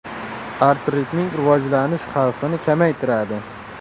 Artritning rivojlanish xavfini kamaytiradi.